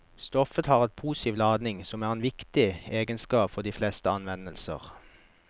Stoffet har en positiv ladning som er en viktig egenskap for de fleste anvendelser.